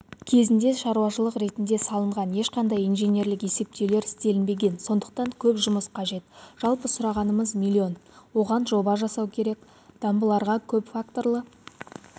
кезінде шаруашылық ретінде салынған ешқандай инженерлік есептеулер істелінбеген сондықтан көп жұмыс қажет жалпы сұрағанымыз миллион оған жоба жасау керек дамбыларға көпфакторлы